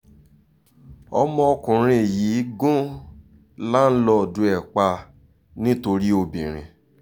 ọmọkùnrin yìí gùn láńlọ́ọ̀dù ẹ̀ pa nítorí obìnrin